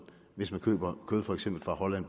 hvis man køber kød for eksempel fra holland